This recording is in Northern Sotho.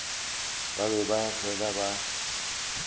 ba be ba fele ba